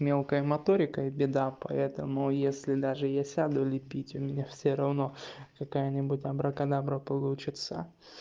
мелкая моторика и беда поэтому если даже я сяду лепить у меня всё равно какая-нибудь абракадабра получится